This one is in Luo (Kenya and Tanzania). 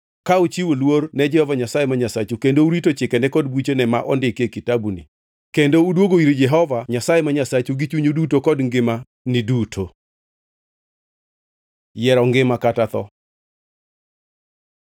ka uchiwo luor ne Jehova Nyasaye ma Nyasachu kendo rito chikene kod buchene ma ondiki e kitabuni kendo udwogo ir Jehova Nyasaye ma Nyasachu gi chunyu duto kod ngimani duto. Yiero ngima kata tho